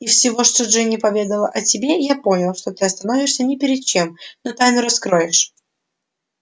из всего что джинни поведала о тебе я понял что ты остановишься ни перед чем но тайну раскроешь